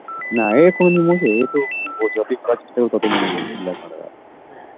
না এ কোনোদিনও মোছে না এতো যতোই ভোলার চেষ্টা করবে ততো মনে পড়বে কি আর করা যাবে